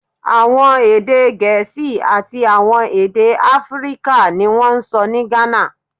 Awọn ede Gẹẹsi ati awọn ede Afirika ni won n sọ ni Ghana